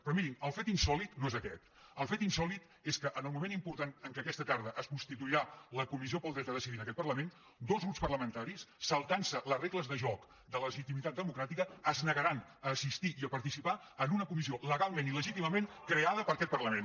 però mirin el fet insòlit no és aquest el fet insòlit és que en el moment important en què aquesta tarda es constituirà la comissió del dret a decidir en aquest parlament dos grups parlamentaris saltant·se les re·gles de joc de la legitimitat democràtica es negaran a assistir i a participar en una comissió legalment i le·gítimament creada per aquest parlament